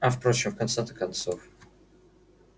а впрочем в конце-то концов